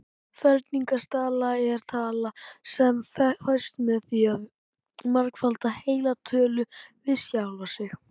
Ferningstala er tala sem fæst með því að margfalda heila tölu við sjálfa sig.